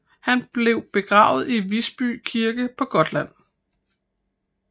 Han blev begravet i Visby Kirke på Gotland